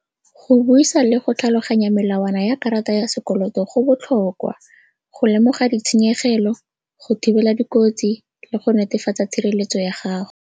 Go buisa le go tlhaloganya melawana ya karata ya sekoloto go botlhokwa go lemoga ditshenyegelo, go thibela dikotsi le go netefatsa tshireletso ya gago.